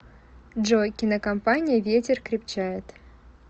джой кинокомпания ветер крепчает